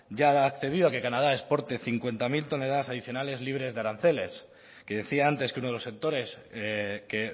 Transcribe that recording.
ya ha accedido a que canadá exporte cincuenta mil toneladas adicionales libres de aranceles que decía antes que uno de los sectores que